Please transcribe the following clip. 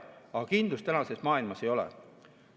Aga kindlust tänases maailmas ei ole.